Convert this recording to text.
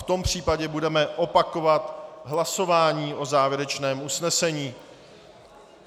V tom případě budeme opakovat hlasování o závěrečném usnesení.